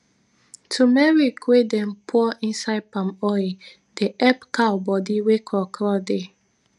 tumeric wey dem pur inside palm oil dey epp cow bodi wey kro kro dey